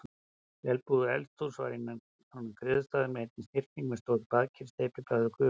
Vel búið eldhús var inn af griðastaðnum, einnig snyrting með stóru baðkeri, steypibaði og gufubaði.